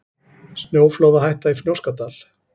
Snjóflóðahætta í Fnjóskadal